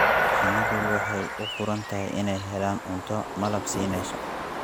Shinnidu waxay u furan tahay inay helaan cunto malab siinaysa.